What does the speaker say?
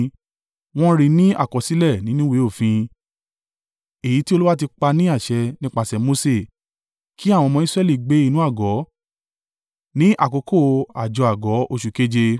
Wọ́n ri ní àkọsílẹ̀ nínú ìwé òfin, èyí tí Olúwa ti pa ní àṣẹ nípasẹ̀ Mose, kí àwọn ọmọ Israẹli gbé inú àgọ́ ní àkókò àjọ àgọ́ oṣù keje